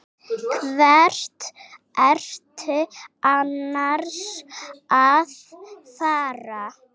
Hvert ertu annars að fara?